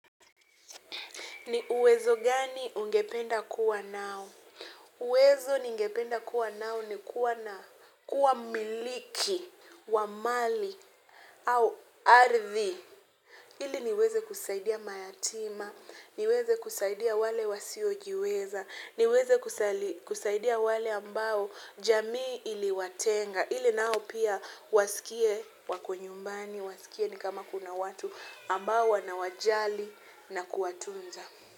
Ni uwezo gani ungependa kuwa nao? Uwezo ningependa kuwa nao ni kuwa na kuwa mmiliki, wa mali, au ardhi. Ili niweze kusaidia mayatima, niweze kusaidia wale wasiojiweza, niweze kusaidia wale ambao jamii iliwatenga. Ili nao pia wasikie wako nyumbani, wasikie ni kama kuna watu ambao wanawajali na kuwatunza.